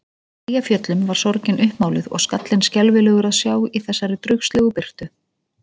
Eyjafjöllum var sorgin uppmáluð og skallinn skelfilegur að sjá í þessari draugslegu birtu.